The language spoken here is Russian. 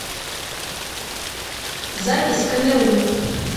запись камерун